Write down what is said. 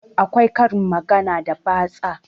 Akwai karin magana da batsa